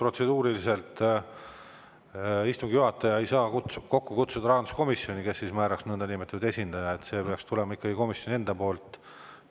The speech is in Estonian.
Protseduuriliselt on nii, et istungi juhataja ei saa kokku kutsuda rahanduskomisjoni, kes määraks nõndanimetatud esindaja, see peaks tulema ikkagi komisjoni enda poolt.